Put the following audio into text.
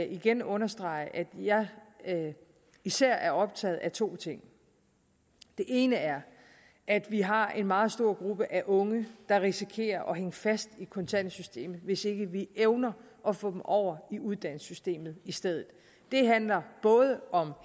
igen understrege at jeg især er optaget er to ting det ene er at vi har en meget stor gruppe af unge der risikerer at hænge fast i kontanthjælpssystemet hvis ikke vi evner at få dem over i uddannelsessystemet i stedet det handler både om